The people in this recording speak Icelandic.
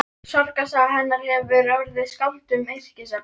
Sorgarsaga hennar hefur orðið skáldum yrkisefni.